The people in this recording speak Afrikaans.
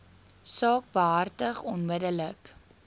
saak behartig onmiddellik